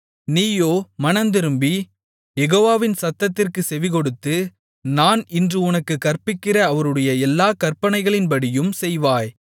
நீயோ மனந்திரும்பி யெகோவாவின் சத்தத்திற்குச் செவிகொடுத்து நான் இன்று உனக்குக் கற்பிக்கிற அவருடைய எல்லாக் கற்பனைகளின்படியும் செய்வாய்